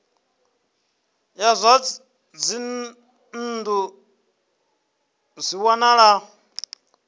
ya zwa dzinnu zwi wanala